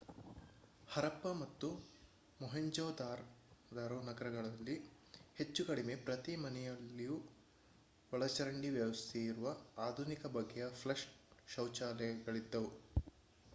ಹರಪ್ಪಾ ಮತ್ತು ಮೊಹೆಂಜೊದಾರೊ ನಗರಗಳಲ್ಲಿ ಹೆಚ್ಚು ಕಡಿಮೆ ಪ್ರತಿ ಮನೆಯಲ್ಲಿಯೂ ಒಳಚರಂಡಿ ವ್ಯವಸ್ಥೆಯಿರುವ ಆಧುನಿಕ ಬಗೆಯ ಫ್ಲಷ್ ಶೌಚಾಲಯಗಳಿದ್ದವು